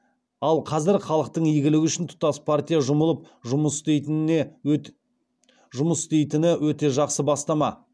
ал қазіргі халықтың игілігі үшін тұтас партия жұмылып жұмыс істейтіні өте жақсы бастама